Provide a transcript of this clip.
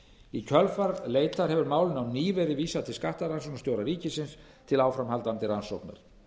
í kjölfar leitar hefur málinu á ný verið vísað til skattrannsóknarstjóra ríkisins til áframhaldandi rannsóknar